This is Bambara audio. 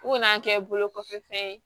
U kana kɛ bolo kɔfɛfɛn ye